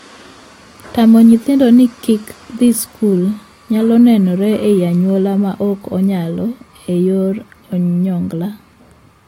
Tamo nyithindo ni kik dhii skul nyalo nenore e anyuola ma ok onyalo e yor onyongla.